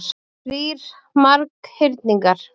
Þrír marghyrningar.